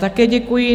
Také děkuji.